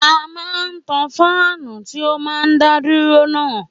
À mà tà fáánù tí ó máa ń dá dúró náà